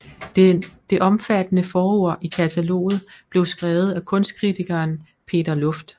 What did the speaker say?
Det omfattende forord i kataloget blev skrevet af kunstkritikeren Peter Lufft